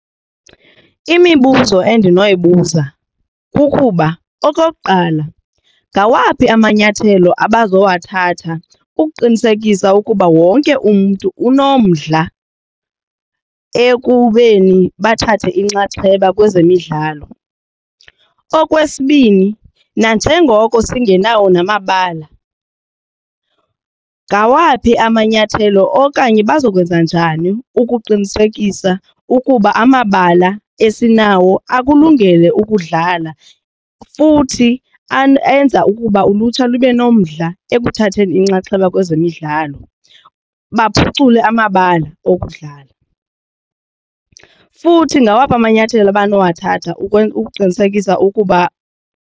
Imibuzo endinoyibuza kukuba okokuqala, ngawaphi amanyathelo abazawathatha ukuqinisekisa ukuba wonke umntu unomdla ekubeni bathathe inxaxheba kwezemidlalo. Okwesibini, nanjengoko singenawo namabala ngawaphi amanyathelo okanye bazokwenza njani ukuqinisekisa ukuba amabala esinawo akulungele ukudlala futhi enza ukuba ulutsha lube nomdla ekuthatheni inxaxheba kwezemidlalo baphucule amabala okudlala, futhi ngawaphi amanyathelo abanowathatha ukuqinisekisa ukuba.